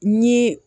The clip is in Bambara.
Ni